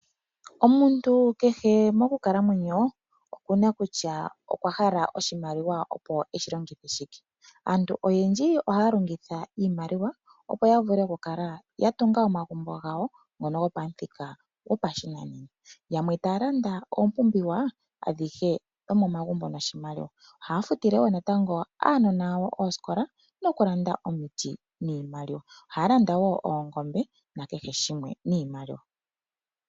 Omuntu kehe monkalamwenyo okunana okutya kutya okwa pumbwa oshimaliwa opo eshi longithe shike. Aantu oyendji oya pumbwa oku longitha iimaliwa opo ya vule oku tunga omagumbo gawo gopashinanena. Yamwe taya landa iikulya yopashinanena. Ohaya futile wo natango aanona yawo oosikola noku landa wo omiti dhopashinanena.